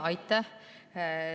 Aitäh!